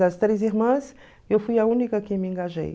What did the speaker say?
Das três irmãs, eu fui a única que me engajei.